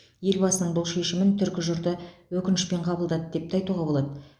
елбасының бұл шешімін түркі жұрты өкінішпен қабылдады деп те айтуға болады